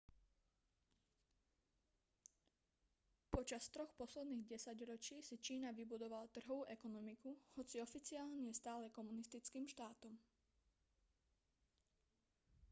počas troch posledných desaťročí si čína vybudovala trhovú ekonomiku hoci oficiálne je stále komunistickým štátom